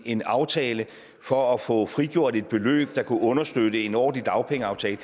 en aftale for at få frigjort et beløb der kan understøtte en ordentlig dagpengeaftale